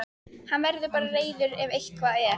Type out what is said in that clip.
Hann verður bara reiður ef eitthvað er.